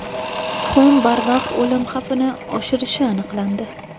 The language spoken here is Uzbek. Tuxum barvaqt o‘lim xavfini oshirishi aniqlandi.